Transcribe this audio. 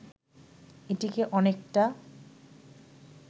এটিকে অনেকটা